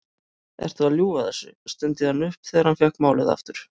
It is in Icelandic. Ertu að ljúga þessu? stundi hann upp þegar hann fékk málið aftur.